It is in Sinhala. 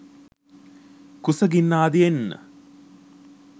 කුසගින්න ආදියෙන්